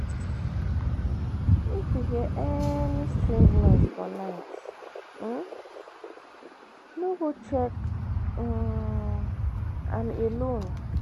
If you hear any strange noise for night, um no go check um am alone